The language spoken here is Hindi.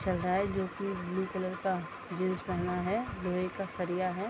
चल रहा है जो की ब्लू कलर का जीन्स पहना है लोहे का सरिया है।